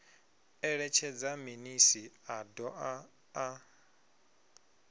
eletshedza minis a doa na